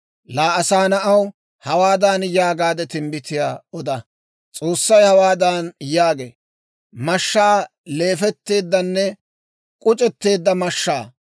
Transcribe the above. «Laa asaa na'aw, hawaadan yaagaade timbbitiyaa oda; S'oossay hawaadan yaagee; ‹Mashshaa! leefetteeddanne k'uc'etteedda mashshaa!